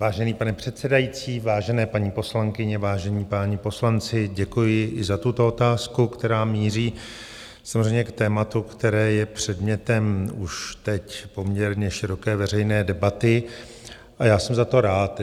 Vážený pane předsedající, vážené paní poslankyně, vážení páni poslanci, děkuji i za tuto otázku, která míří samozřejmě k tématu, které je předmětem už teď poměrně široké veřejné debaty, a já jsem za to rád.